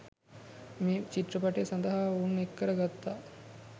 මේ චිත්‍රපටය සඳහා ඔවුන් එක්කර ගත්තා.